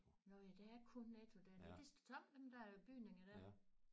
Nåh ja der er kun Netto dernede det står tom dem der bygninger dér